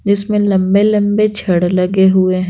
इसमें लंबे-लंबे छड़ लगे हुए --